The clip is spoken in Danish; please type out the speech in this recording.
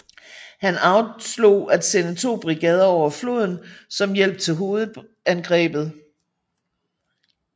Han afslog at sende to brigader over floden som hjælp til hovedangrebet